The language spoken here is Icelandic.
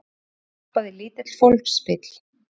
Loks stoppaði lítill fólksbíll.